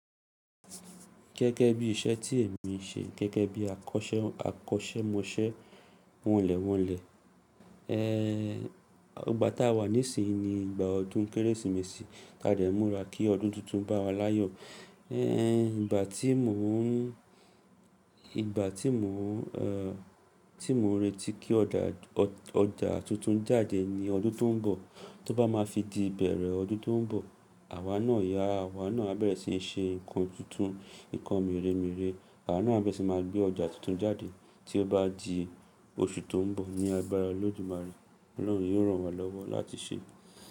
Gẹ́gẹ́ bí iṣẹ́ tí èmi ń ṣe gẹ́gẹ́ bí akọ́sẹ́mọsẹ́ wọnlẹ̀wọnlẹ̀. Ẹẹ, ìgbà tá a wà nísinyí ni ìgbà ọdún Kérésìmesì. Ká dẹ̀ múra kí ọdún tuntun bá wa láyọ̀. Ẹẹ, ìgbà tí mò ń, ìgbà tí mò ń, ẹ́ tí mò ń retí kí ọjà tuntun jáde ni ọdún tó ń bọ̀. Tí ó bá máa fi di ìbẹ̀rẹ̀ ọdún tó ń bọ̀, àwa náà yá, àwa náà á bẹ̀rẹ̀ sí í ṣe nǹkan tuntun, nǹkan mèremère. Àwa náà á bẹ̀rẹ̀ sí máa gbé ọjà tuntun jáde tí ó bá di oṣù tó ń bọ̀. Ni agbára Olódùmarè, Ọlọ́run yóò ràn wa lọ́wọ́ láti ṣe é.